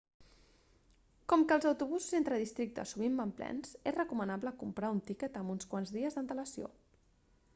com que els autobusos entre districtes sovint van plens és recomanable comprar un tiquet amb uns quants dies d'antelació